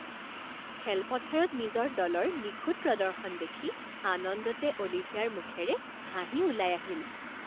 খেলপথাৰত নিজৰ দলৰ নিখুঁত প্ৰদৰ্শন দেখি আনন্দতে অলিভিয়াৰ মুখেৰে হাঁহি ওলাই আহিল